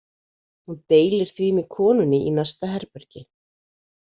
Hún deilir því með konunni í næsta herbergi.